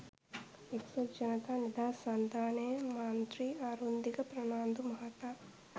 එක්සත් ජනතා නිදහස් සන්‍ධානයේ මන්ත්‍රී අරුන්දික ප්‍රනාන්දු මහතා